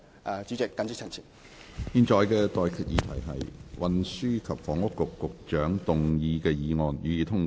我現在向各位提出的待決議題是：運輸及房屋局局長動議的議案，予以通過。